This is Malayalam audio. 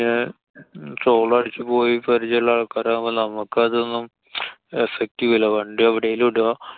പിന്നെ toll അടച്ചുപോയി പരിചയള്ള ആള്‍ക്കരാവുമ്പോ നമ്മക്കതൊന്നും effect ചെയ്യൂല. വണ്ടി എവടേലും ഇടാ.